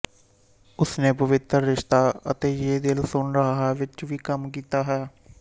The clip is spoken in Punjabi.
ਉਸਨੇ ਪਵਿਤਰ ਰਿਸ਼ਤਾ ਅਤੇ ਯੇ ਦਿਲ ਸੁਨ ਰਹਾ ਹੈ ਵਿਚ ਵੀ ਕੰਮ ਕੀਤਾ ਹੈ